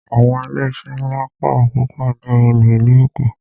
Àwọn ilé iṣé ńlá pọ̀ púpọ̀ ní olú ìlú Èkó.